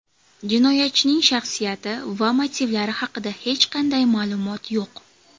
Jinoyatchining shaxsiyati va motivlari haqida hech qanday ma’lumot yo‘q.